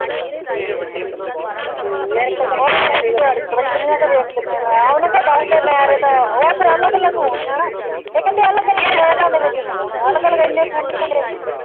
ਉਹ ਤਾਂ ਦਿਹਾੜੀ ਚ ਪਤਾ ਨਈਂ ਕਿੰਨੀਆਂ ਕੁ ਦੇਖ ਲੈਨੇ ਆ। ਉਹਨੇ ਦੱਸ ਦੇ ਉਹ ਫਿਰ ਅਲੱਗ ਅਲੱਗ ਮੋਬਾਈਲਾਂ ਚ ਹੋਣ। ਅਲੱਗ ਅਲੱਗ ਐਨੇ ਫੋਨ ਕਿਥੋਂ ਲੈ ਆਈਏ।